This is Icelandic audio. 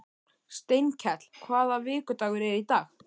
Steinkell, hvaða vikudagur er í dag?